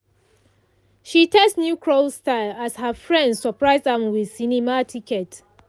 she test new curl style as her friends surprise am with cinema ticket.